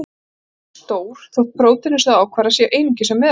Þau eru mjög stór, þótt prótínin sem þau ákvarða séu einungis af meðalstærð.